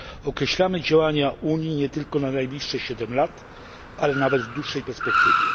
Określamy działania Unii nie tylko na najbliższe 7 lat, ale nawet w dłuższej perspektywie.